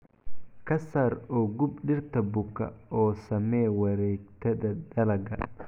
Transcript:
Ka saar oo gub dhirta buka oo samee wareegtada dalagga.